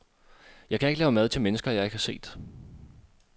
Jeg kan ikke lave mad til mennesker jeg ikke har set.